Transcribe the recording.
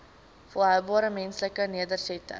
volhoubare menslike nedersettings